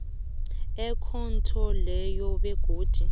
ekhotho leyo begodu